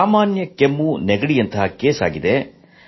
ಸಾಮಾನ್ಯ ಕೆಮ್ಮು ನೆಗಡಿಯಂತಹ ಕೇಸ್ ಆಗಿದೆ